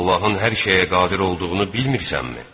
Allahın hər şeyə qadir olduğunu bilmirsənmi?